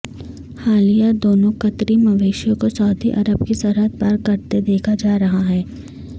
حالیہ دونوں قطری مویشیوں کو سعودی عرب کی سرحد پار کرتے دیکھا جا رہا ہے